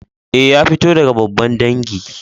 Eh, ya fito daga babban dangi.